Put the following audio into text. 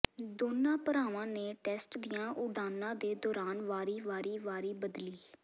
ਦੋਵਾਂ ਭਰਾਵਾਂ ਨੇ ਟੈਸਟ ਦੀਆਂ ਉਡਾਣਾਂ ਦੇ ਦੌਰਾਨ ਵਾਰੀ ਵਾਰੀ ਵਾਰੀ ਬਦਲੀ